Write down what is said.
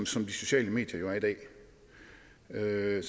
sociale medier jo er i